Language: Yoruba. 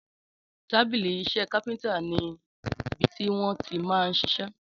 Tàbílí isé kápéntà ni ibití wọn tí man ṣiṣẹ́